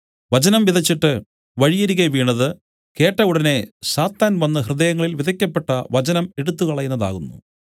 വചനം വിതച്ചിട്ട് വഴിയരികെ വീണത് കേട്ട ഉടനെ സാത്താൻ വന്നു ഹൃദയങ്ങളിൽ വിതയ്ക്കപ്പെട്ട വചനം എടുത്തുകളയുന്നതാകുന്നു